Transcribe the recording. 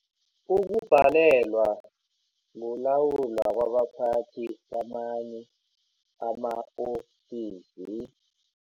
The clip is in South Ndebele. Ukubhalelwa kulawula kwabaphathi kamanye ama-ofisi